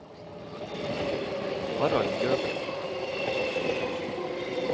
Harald Løken